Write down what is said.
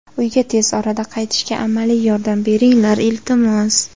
Uyga tez orada qaytishga amaliy yordam beringlar, iltimos.